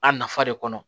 A nafa de kɔnɔ